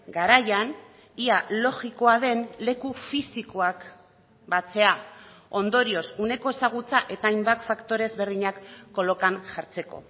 garaian ia logikoa den leku fisikoak batzea ondorioz uneko ezagutza eta hainbat faktore ezberdinak kolokan jartzeko